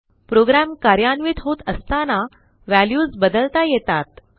program कार्यान्वित होत असताना व्हॅल्यूज बदलता येतात